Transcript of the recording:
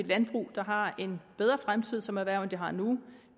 landbrug der har en bedre fremtid som erhverv end det har nu